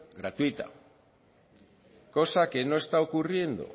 gratuita cosa que no está ocurriendo